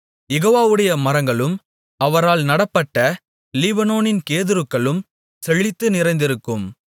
யெகோவாவுடைய மரங்களும் அவரால் நடப்பட்ட லீபனோனின் கேதுருக்களும் செழித்து நிறைந்திருக்கும்